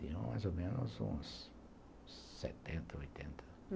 Tinham mais ou menos uns setenta, oitenta.